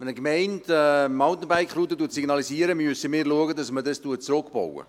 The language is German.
Wenn eine Gemeinde eine Mountainbike-Route signalisiert, müssen wir dafür sorgen, dass man diese zurückbaut.